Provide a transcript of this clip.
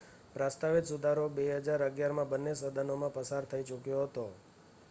પ્રસ્તાવિત સુધારો 2011માં બન્ને સદનોમાં પસાર થઈ ચૂક્યો હતો